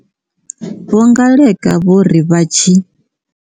Vho Ngaleka vho ri vha tshi